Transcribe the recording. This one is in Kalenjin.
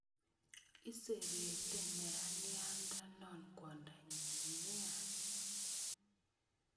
Iserete nerania ndonon kwondanyin nia